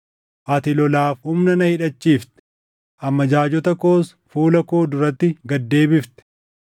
Ati lolaaf humna na hidhachiifte; amajaajota koos fuula koo duratti gad deebifte.